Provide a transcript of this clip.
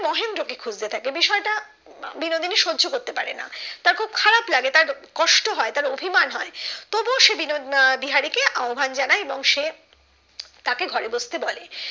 মহেন্দ্র কে খুঁজতে থাকে বিষয়টা বিনোদিনী সহ্য করতে পারে না তার খুব খারাপ লাগে তার কষ্ট হয় তার অভিমান হয় তবু ও সে বিনো আহ বিহারি কে আহব্বান জানায় এবং সে তাকে ঘরে বসতে বলে